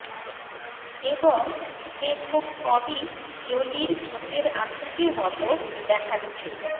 এবং সে খুব কমই জোলির ঠোঁটের আকৃতির মত দেখাচ্ছে